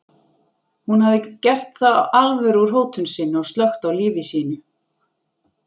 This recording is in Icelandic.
Hún hafði þá gert alvöru úr hótun sinni og slökkt á lífi sínu.